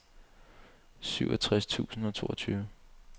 syvogtres tusind og toogtyve